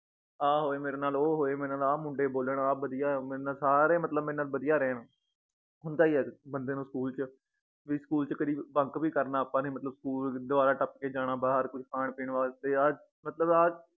ਆ ਹੋਏ ਮੇਰੇ ਨਾਲ ਉਹ ਹੋਏ ਮੇਰੇ ਨਾਲ ਆ ਮੁੰਡੇ ਬੋਲਣ ਆ ਬਧਿਆ ਏ ਮੇਰੇ ਨਾਲ ਸਾਰੇ ਮਤਲਬ ਮੇਰੇ ਨਾਲ ਬਧਿਆ ਰਹਿਣ ਹੁੰਦਾ ਈ ਏ ਬੰਦੇ ਨੂੰ ਸਕੂਲ ਚ ਵੀ ਸਕੂਲ ਚ ਕਦੀ bunk ਵੀ ਕਰਨਾ ਆਪਾਂ ਨੇ ਮਤਲਬ ਸਕੂਲ ਦਵਾਰਾਂ ਟੱਪ ਕੇ ਜਾਨਾ ਬਾਹਰ ਕੋਈ ਖਾਣ ਪੀਣ ਵਾਸਤੇ ਆ ਮਤਲਬ ਆ